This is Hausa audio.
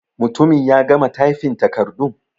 Mutumin ya gama tyfin takardun?